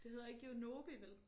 Det hedder ikke Yonobi vel